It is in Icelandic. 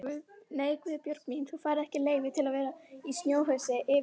Nei Guðbjörg mín, þú færð ekki leyfi til að vera í snjóhúsi yfir nótt